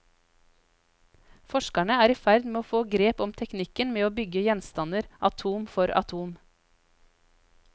Forskerne er i ferd med å få grep om teknikken med å bygge gjenstander atom for atom.